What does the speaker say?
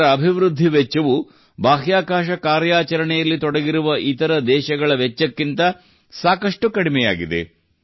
ಇದರ ಅಭಿವೃದ್ಧಿ ವೆಚ್ಚವು ಬಾಹ್ಯಾಕಾಶ ಕಾರ್ಯಾಚರಣೆಯಲ್ಲಿ ತೊಡಗಿರುವ ಇತರ ದೇಶಗಳ ವೆಚ್ಚಕ್ಕಿಂತ ಸಾಕಷ್ಟು ಕಡಿಮೆಯಾಗಿದೆ